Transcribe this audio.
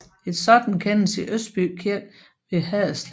Et sådant kendes i Øsby Kirke ved Haderslev